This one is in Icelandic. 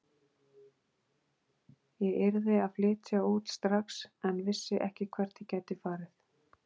Ég yrði að flytja út strax en vissi ekki hvert ég gæti farið.